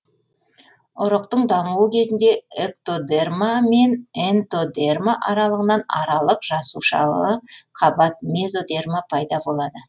ұрықтың дамуы кезінде эктодерма мен энтодерма аралығынан аралық жасушалы қабат мезодерма пайда болады